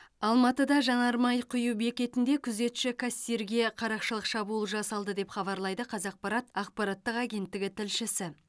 алматыда жанармай құю бекетінде күзетші кассирге қарақшылық шабуыл жасалды деп хабарлайды қазақпарат ақпараттық агенттігі тілшісі